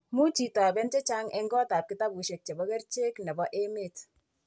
Much itoben chechang' eng' kotab kitabushekab kerichek nebo emet.